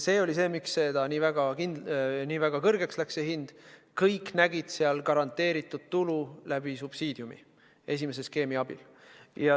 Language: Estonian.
See oli see põhjus, miks see hind läks nii kõrgeks – kõik nägid seal garanteeritud tulu subsiidiumi kaudu, esimese skeemi abil.